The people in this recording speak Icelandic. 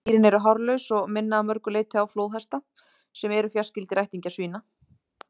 Dýrin eru hárlaus og minna að mörgu leyti á flóðhesta, sem eru fjarskyldir ættingjar svína.